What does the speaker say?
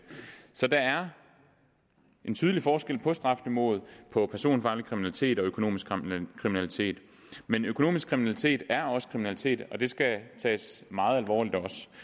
så der er en tydelig forskel på strafniveauet for personfarlig kriminalitet og for økonomisk kriminalitet men økonomisk kriminalitet er også kriminalitet og det skal tages meget alvorligt